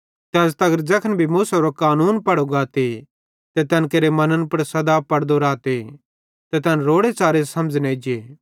ते अज़ तगर ज़ैखन भी मूसेरो कानून पढ़ो गाते ते तैन केरे मन्न पुड़ सदा पड़दो रहते ते तैन रोड़े च़ारे समझ़ न एज्जे